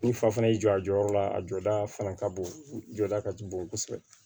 Ni fa fana y'i jɔ a jɔyɔrɔ la a jɔda fana ka bon jɔda ka ca bon kosɛbɛ